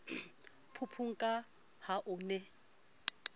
phupung ka ha o ne